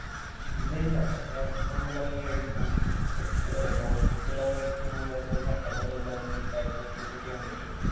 ഇല്ല ഇല്ല പക്ഷെ അത് നമ്മളെ ഈ book ഏർ text അല്ല note book എല്ലാം വേടിക്കുമ്പുള്ളെ അതിന്റെ ചട്ടമ്മലുള്ള ഈ statue of liberty കണ്ടിട്ടുണ്ട്